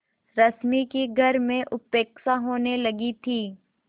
रश्मि की घर में उपेक्षा होने लगी थी